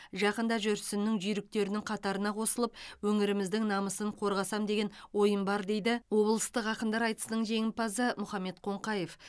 жақында жүрсіннің жүйріктерінің қатарына қосылып өңіріміздің намысын қорғасам деген ойым бар дейді облыстық ақындар айтысының жеңімпазы мұхаммед қоңқаев